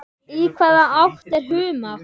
Í hvaða átt er humátt?